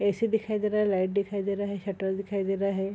AC. दिखाई दे रहा है लाइट रहा है शटर दिखाई दे रहा है।